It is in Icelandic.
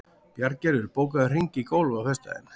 Bjarngerður, bókaðu hring í golf á föstudaginn.